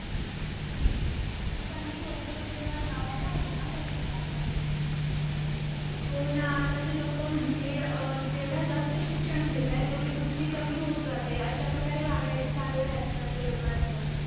मग त्यांनी योग्य विल्यवाट लावायला हवी ना सांडपाण्याची हो ना आत्ताचे लोक म्हणजे जेवढ्या जास्त शिक्षण घेताय तेवढीं बुद्धी कमी होत जातेय अश्या प्रकारे वागायचं चाल्लंय आज कालच्या लोकांचं